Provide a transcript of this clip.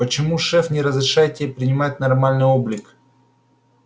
почему шеф не разрешает тебе принимать нормальный облик